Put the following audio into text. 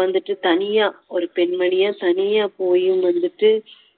வந்துட்டு தனியா ஒரு பெண்மணியா தனியா போயும் வந்துட்டு